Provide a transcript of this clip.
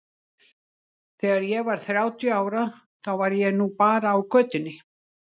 Þegar ég var þrjátíu ára þá var ég nú bara á götunni.